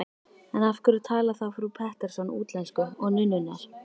En af hverju talar þá frú Pettersson útlensku, og nunnurnar?